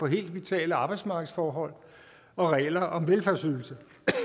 helt vitale arbejdsmarkedsforhold og regler om velfærdsydelser